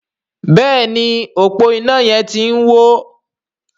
Béèni ọpo iná yén tí ń wọ.